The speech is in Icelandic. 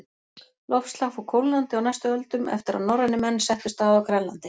Loftslag fór kólnandi á næstu öldum eftir að norrænir menn settust að á Grænlandi.